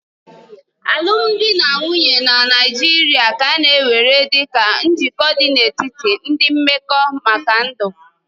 Alụmdi na nwunye na Naịjirịa ka a na-ewere dịka njikọ dị n'etiti ndị mmekọ maka ndụ.